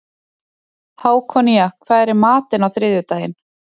Hákonía, hvað er í matinn á þriðjudaginn?